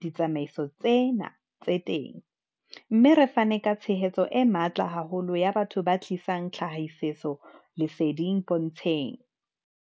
ditsamaiso tsena tse teng, mme re fane ka tshehetso e matla haholo ya batho ba tlisang tlhahisoleseding pontsheng.